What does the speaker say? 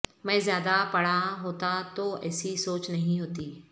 میں زیادہ پڑھا ہوتا تو ایسی سوچ نہیں ہوتی